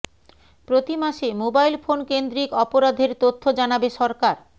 প্রতি মাসে mobile phone কেন্দ্রিক অপরাধের তথ্য জানাবে সরকার